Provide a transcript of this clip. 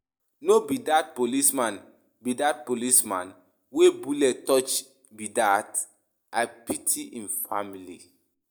No be dat policeman be dat police man wey bullet touch be dat? I pity im family.